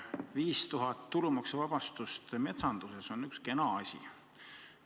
5000 eurot tulumaksuvabastuse piiriks metsanduses on üks kena asi.